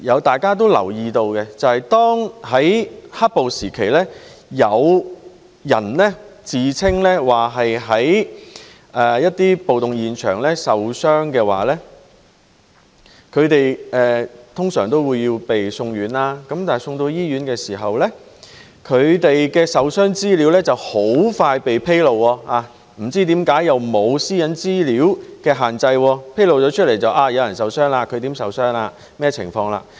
大家都留意到，在"黑暴"時期，有人自稱在暴動現場受傷，他們通常會被送院，但送到醫院時，他們的受傷資料很快被披露，不知為何不受個人私隱資料的限制，披露有人受傷、如何受傷及甚麼情況。